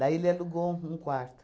Daí ele alugou um quarto.